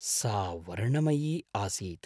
सा वर्णमयी आसीत्।